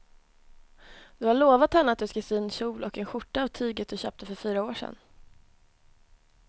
Du har lovat henne att du ska sy en kjol och skjorta av tyget du köpte för fyra år sedan.